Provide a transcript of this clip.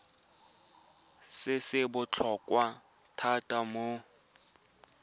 se se botlhokwa thata mo